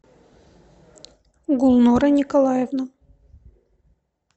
гулнора николаевна